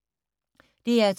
DR2